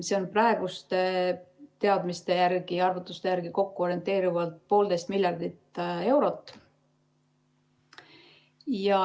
See on praeguste teadmiste ja arvutuste järgi kokku orienteerivalt 1,5 miljardit eurot.